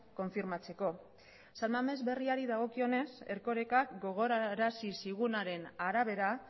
konfirmatzeko san mames berriari dagokionez erkorekak gogorarazi zigunaren arabera